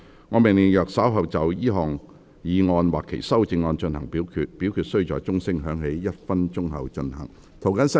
我命令若稍後就這項議案或其修正案進行點名表決，表決須在鐘聲響起1分鐘後進行。